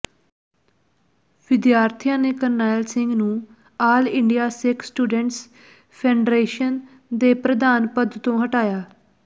ਵਿਦਿਆਰਥੀਆਂ ਨੇ ਕਰਨੈਲ ਸਿੰਘ ਨੂੰ all India Sikh students federation ਦੇ ਪ੍ਰਧਾਨ ਪਦ ਤੋਂ ਹਟਾਇਆ